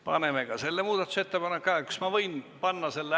Paneme ka selle muudatusettepaneku hääletusele.